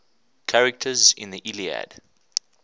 characters in the iliad